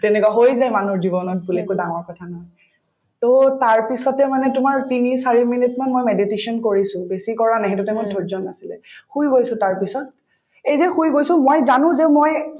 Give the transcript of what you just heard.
তেনেকুৱা হৈ যায় মানুহৰ জীৱনত ভূল একো ডাঙৰ কথা নহয় to তাৰপিছতে মানে তোমাৰ তিনি চাৰি minute মান মই mediation কৰিছো বেছি কৰা নাই সেইটো time ত ধৈৰ্য্য নাছিলে শুই গৈছো তাৰপিছত এই যে শুই গৈছো মই জানো যে মই